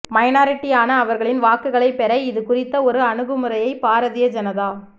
மைனாரிட்டியான அவர்களின் வாக்குகளை பெற இதுகுறித்த ஒரு அனுகுமுறையை பாரதீய ஜனதா